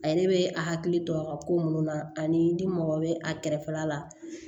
A yɛrɛ bɛ a hakili to a ka ko minnu na ani ni mɔgɔ bɛ a kɛrɛfɛla la